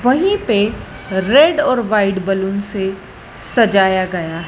वही पे रेड और वाइट बलुन से सजाया गया--